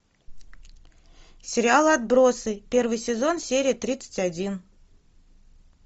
сериал отбросы первый сезон серия тридцать один